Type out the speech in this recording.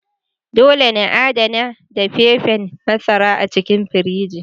Dole na adana dafefen masara a cikin firiji.